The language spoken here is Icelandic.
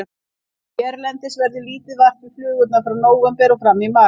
Hérlendis verður lítið vart við flugurnar frá nóvember og fram í mars.